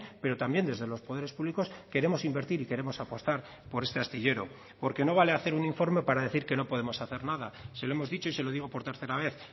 pero también desde los poderes públicos queremos invertir y queremos apostar por este astillero porque no vale hacer un informe para decir que no podemos hacer nada se lo hemos dicho y se lo digo por tercera vez